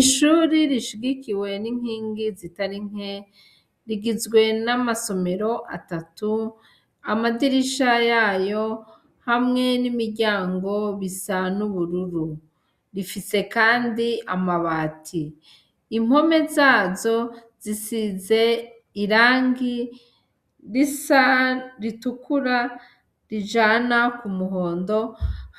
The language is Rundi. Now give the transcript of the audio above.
Ishuri rishigikiwe n'inkingi zitari nke rigizwe n'amasomero atatu amadirisha yayo hamwe n'imiryango bisan'ubururu rifise, kandi amabati impome zazo zisize irangi ki risa ritukura rijana ku muhondo